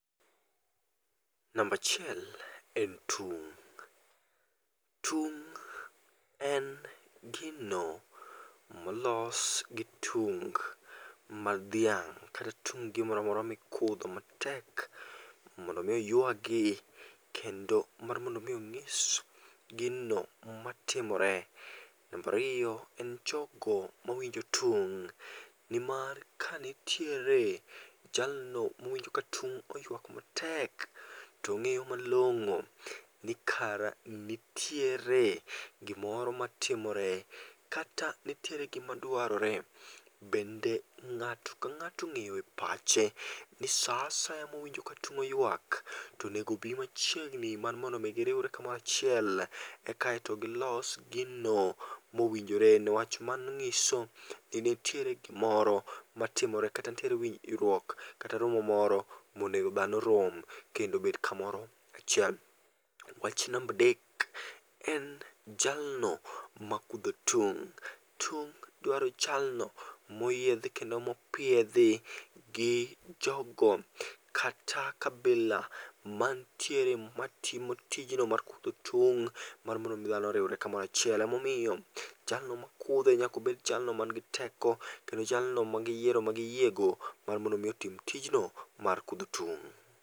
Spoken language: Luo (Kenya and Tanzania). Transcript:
Namba achiel en tung', tung' en gino molos gi tung mar dhiang', kata tung gimoramora mikudho matek mondo mi ywagi kendo mar mondo mi ong'is gino matimore. Namba ariyo en jogo mowinjo tung' nimar kanitiere jalno mowinjo ka tung' oywak matek to ng'eyo malong'o ni kara nitiere gimoro matimora kata nitiere gimadwarore. Bende ng'ato ka ng'ato ong'eyo epache ni saa asaya mowinjo ka tung' oywak oneg bii machiegni mondo giriwre kamoro achiel eka to gilos gino mowinjore newach mano ng'iso ni ntiere gimorn matimoe kata ntiere winjruok kata romo monego kendo obed kamoro achiel. Wach namba adek en jalno makudho tung', tung' dwaro jalno moyiedhi kendo mopiedhi gi jogo kata kabila mantiere matimo tijno mar kudho tung' mar mondo dhano oriwre kamora chiel. Emomiyo jalno makudhe nyaka bed jalno ma nigi teko kendo jalno ma giyiero ma giyiego mar modno mi otim tijno mar kudho tung'.